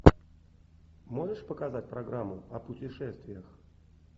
можешь показать программу о путешествиях